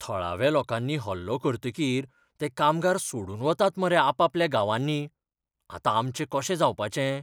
थळाव्या लोकांनी हल्लो करतकीर ते कामगार सोडून वतात मरे आपापल्या गांवांनी, आतां आमचें कशें जावपाचें?